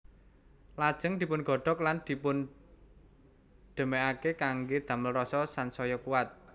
Lajeng dipungodhog lan dipundhemake kangge damel rasa sansaya kuwat